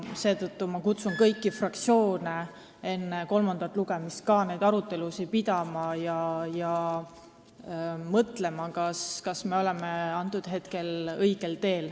Seetõttu ma kutsun kõiki fraktsioone üles enne kolmandat lugemist pidama arutelusid ja mõtlema, kas me oleme õigel teel.